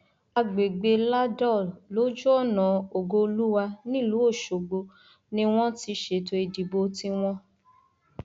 àgbègbè ladol lójúọnà ògoolúwà nílùú ọsogbò ni wọn ti ṣètò ìdìbò tiwọn